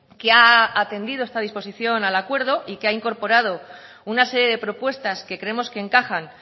que ha atendido esta disposición al acuerdo y que ha incorporado una serie de propuestas que creemos que encajan